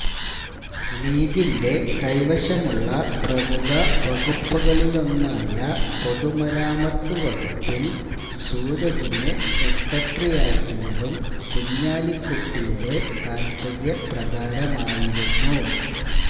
ലീഗിന്റെ കൈവശമുള്ള പ്രമുഖ വകുപ്പുകളിലൊന്നായ പൊതുമരാമത്ത് വകുപ്പില് സൂരജിനെ സെക്രട്ടറിയാക്കിയതും കുഞ്ഞാലിക്കുട്ടിയുടെ താത്പര്യപ്രകാരമായിരുന്നു